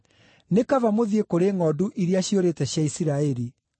Nĩ kaba mũthiĩ kũrĩ ngʼondu iria ciũrĩte cia Isiraeli.